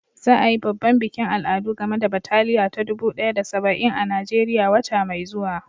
Za a yi babban bikin al'adu game da bataliya ta dubu ɗaya da saba'in a Najeriya wata mai zuwa.